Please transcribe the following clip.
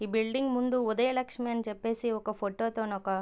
ఈ బిల్డింగ్ ముందు ఉదయలక్ష్మి అన్ని చెపేసి ఒక ఫోటో తో నొక --